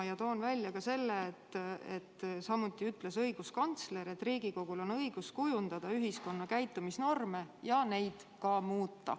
Ma toon välja ka selle, et õiguskantsleri sõnul on Riigikogul õigus kujundada ühiskonna käitumisnorme ja püüda neid muuta.